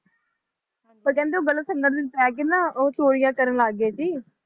ਪਰ ਕਹਿੰਦੇ ਓਹ ਗਲਤ ਸੰਗਤ ਵਿੱਚ ਪੈ ਕੇ ਨਾ ੳ ਚੋਰੀਆਂ ਕਰਨ ਲੱਗ ਗਏ ਸੀ